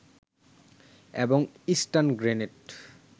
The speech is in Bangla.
এবং স্টান গ্রেনেড